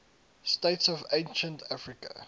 states of ancient africa